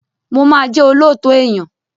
Mo máa jẹ́ olóòótọ́ èyàn.